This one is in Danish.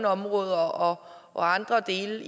områder og andre dele